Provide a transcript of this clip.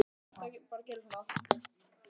Þarna gægðist eitthvað upp fyrir stein.